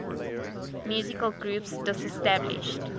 musical groups disestablished